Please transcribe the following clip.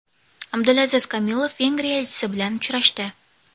Abdulaziz Kamilov Vengriya elchisi bilan uchrashdi.